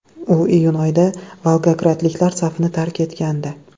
U iyun oyida volgogradliklar safini tark etgandi .